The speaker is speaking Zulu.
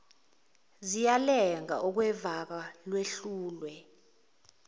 ziyalenga okwevaka lehlulwe